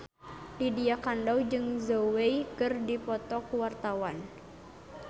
Lydia Kandou jeung Zhao Wei keur dipoto ku wartawan